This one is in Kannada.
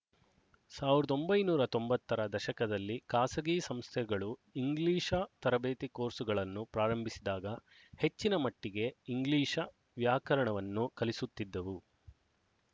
ಸಾವಿರದ ಒಂಬೈನೂರ ತೊಂಬತ್ತರ ದಶಕದಲ್ಲಿ ಖಾಸಗಿ ಸಂಸ್ಥೆಗಳು ಇಂಗ್ಲಿಶ ತರಬೇತಿಕೋರ್ಸ್‍ಗಳನ್ನು ಪ್ರಾರಂಭಿಸಿದಾಗ ಹೆಚ್ಚಿನ ಮಟ್ಟಿಗೆ ಇಂಗ್ಲಿಶ ವ್ಯಾಕರಣವನ್ನು ಕಲಿಸುತ್ತಿದ್ದವು